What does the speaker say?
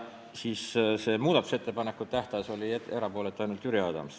Selle muudatusettepanekute tähtaja otsuse puhul oli erapooletu ainult Jüri Adams.